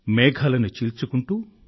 మేఘాలను చీల్చుకుంటూ